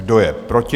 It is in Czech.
Kdo je proti?